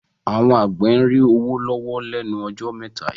Àwọn àgbẹ̀ ń rí owó lọ́wọ́ lẹ́nu ọjọ́ mẹ́ta yìí